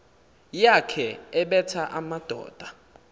yakhe ebetha amadoda